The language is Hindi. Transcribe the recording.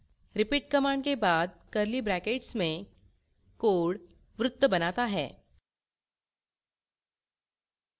repeat command के बाद curly brackets में code वृत्त बनाता है